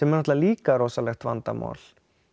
náttúrulega líka rosalegt vandamál